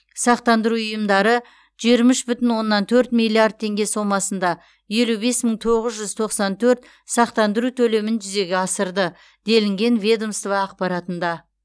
сақтандыру ұйымдары жиырма үш бүтін оннан төрт миллиард теңге сомасында елу бес мың тоғыз жүз тоқсан төрт сақтандыру төлемін жүзеге асырды делінген ведомство ақпаратында